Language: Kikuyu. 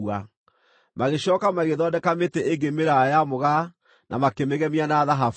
Magĩcooka magĩthondeka mĩtĩ ĩngĩ mĩraaya ya mũgaa na makĩmĩgemia na thahabu.